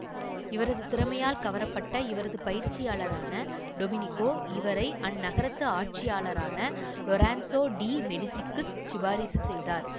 இவரது திறமையால் கவரப்பட்ட இவரது பயிற்சியாளரான டொமெனிக்கோ இவரை அந் நகரத்து ஆட்சியாளரான லொரென்சோ டி மெடிசிக்குச் சிபாரிசு செய்தார்